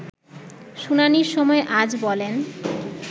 শুনানির সময় আজ বলেন